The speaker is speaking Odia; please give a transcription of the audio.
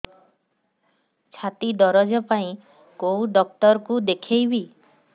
ଛାତି ଦରଜ ପାଇଁ କୋଉ ଡକ୍ଟର କୁ ଦେଖେଇବି